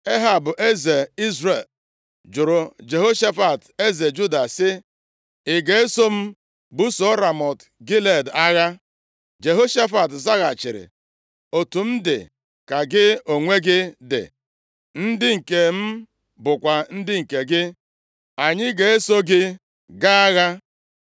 Ehab eze Izrel jụrụ Jehoshafat eze Juda, sị, “Ị ga-eso m buso Ramọt Gilead agha?” Jehoshafat zaghachiri, “Otu m dị ka gị onwe gị dị, ndị nke m bụkwa ndị gị. Anyị ga-eso gị gaa agha.”